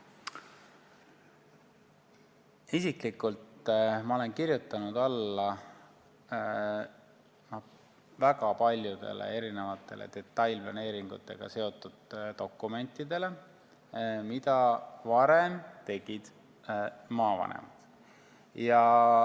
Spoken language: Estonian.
Isiklikult olen ma kirjutanud alla väga paljudele detailplaneeringutega seotud dokumentidele, mida varem tegid maavanemad.